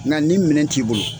Nka ni minɛn t'i bolo